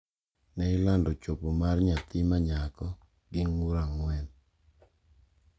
Ne ilando chopo mar nyathi ma nyako gi ng’ur ang’wen.